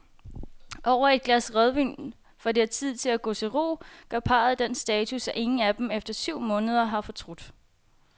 Over et glas rødvin, før det er tid at gå til ro, gør parret den status, at ingen af dem efter syv måneder har fortrudt.